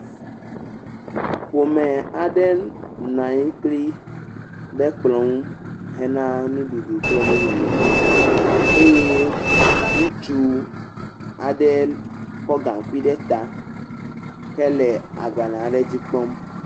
Ƒome aɖe nɔ anyi kpli ɖe kplɔ̃ ŋu hena nu ɖuɖu kple nu nono, eye ŋutsu aɖe kɔ gaŋkui ɖe ta hele agbalẽa ɖe dzi kpɔm.